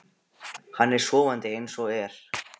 Hann er sofandi eins og er.